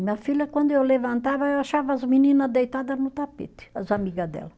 Minha filha, quando eu levantava, eu achava as menina deitada no tapete, as amiga dela.